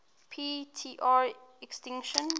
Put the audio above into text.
p tr extinction